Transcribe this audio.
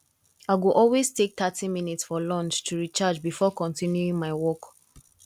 i go always take thirty minutes for lunch to recharge before continuing my work